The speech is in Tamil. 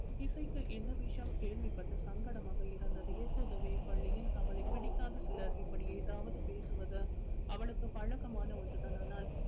இசைக்கு இந்த விஷயம் கேள்விப்பட்டு சங்கடமாக இருந்தது எப்போதுமே பள்ளியில் அவளை பிடிக்காத சிலர் இப்படி ஏதாவது பேசுவது அவளுக்கு பழக்கமான ஒன்றுதான ஆனால்